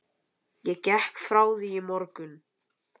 Ég gekk frá því í morgun.